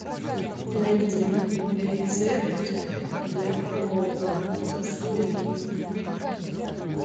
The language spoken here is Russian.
найди рецепт для плова со свининой